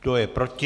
Kdo je proti?